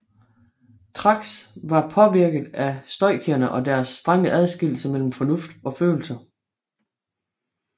Thrax var påvirket af stoikerne og deres strenge adskillelse mellem fornuft og følelser